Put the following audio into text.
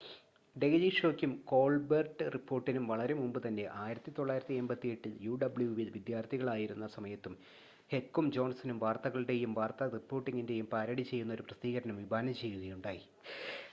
daily ഷോയ്ക്കും കോൾബെർട്ട് റിപ്പോർട്ടിനും വളരെ മുമ്പുതന്നെ 1988-ൽ യുഡബ്ല്യുവിൽ വിദ്യാർത്ഥികളായിരുന്ന സമയത്ത് ഹെക്കും ജോൺസണും വാർത്തകളുടെയും വാർത്താ റിപ്പോർട്ടിംഗിൻ്റെയും പാരഡി ചെയ്യുന്ന ഒരു പ്രസിദ്ധീകരണം വിഭാവനം ചെയ്യുകയുണ്ടായി